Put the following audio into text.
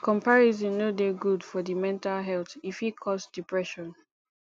comparison no dey good for di mental health e fit cause depression